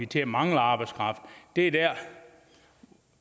til at mangle arbejdskraft det